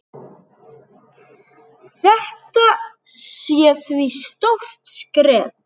Þetta sé því stórt skref.